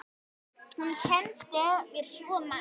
Hún kenndi mér svo margt.